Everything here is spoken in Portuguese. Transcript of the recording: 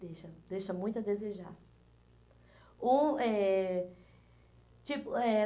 Deixa, deixa muito a desejar. O eh, tipo eh